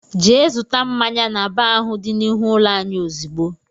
Jee zụta mmáñyá n'baar ahụ dị n'ihu ụlọ anyị ozigbo!!!!